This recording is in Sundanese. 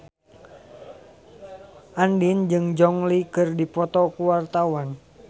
Andien jeung Gong Li keur dipoto ku wartawan